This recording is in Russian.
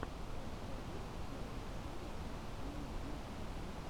у тебя есть первая серия оксаны дмитриевой